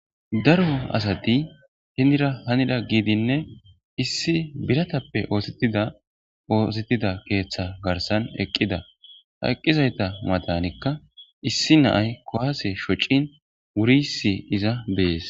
daro asati hindira hanida giidinne issi biratappe oosettida oosettida keeththa garsan eqqida ha eqqizayta madanikka issi naay kowaase shocin wuriissi iza bees